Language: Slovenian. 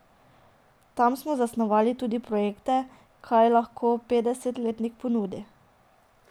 Tam smo zasnovali tudi projekte, kaj lahko petdesetletnik ponudi.